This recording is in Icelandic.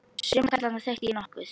Suma karlana þekkti ég nokkuð.